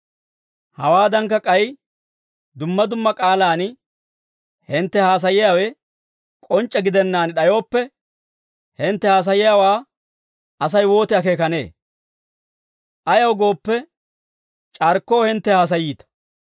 Hawaadankka, k'ay dumma dumma k'aalaan hintte haasaayiyaawe k'onc'c'e gidennaan d'ayooppe, hintte haasayiyaawaa Asay wooti akeekanee? Ayaw gooppe, c'arkkoo hintte haasayiita.